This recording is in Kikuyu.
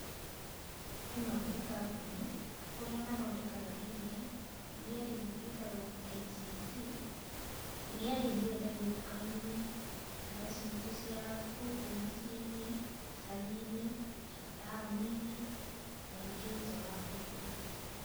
Īno nī kambūnī kūrīa mathodekanga īrīa, īrīa rīu rīetagūa KICC īrīa rīrī nīrīendagīo dukaīnī duka cītu cīa gūko mūcīnī, īcagīnī, mataonīnī, ona rīgī njaa wa būrūri.